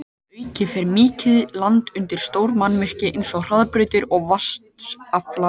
Að auki fer mikið land undir stór mannvirki eins og hraðbrautir og vatnsaflsvirkjanir.